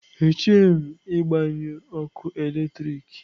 Echeghị m ịgbanyụ ọkụ eletrik.